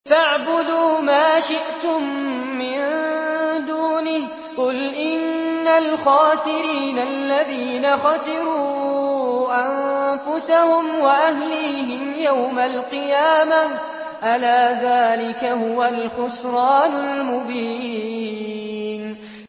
فَاعْبُدُوا مَا شِئْتُم مِّن دُونِهِ ۗ قُلْ إِنَّ الْخَاسِرِينَ الَّذِينَ خَسِرُوا أَنفُسَهُمْ وَأَهْلِيهِمْ يَوْمَ الْقِيَامَةِ ۗ أَلَا ذَٰلِكَ هُوَ الْخُسْرَانُ الْمُبِينُ